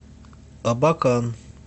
абакан